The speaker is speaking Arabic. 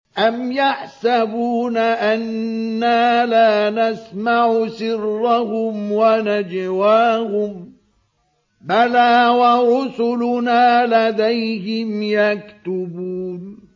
أَمْ يَحْسَبُونَ أَنَّا لَا نَسْمَعُ سِرَّهُمْ وَنَجْوَاهُم ۚ بَلَىٰ وَرُسُلُنَا لَدَيْهِمْ يَكْتُبُونَ